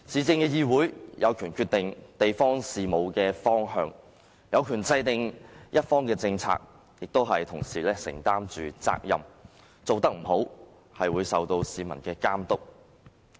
市議會有權決定地方事務的方向，制訂政策，亦同時受到市民的監督，做得不好就要承擔責任。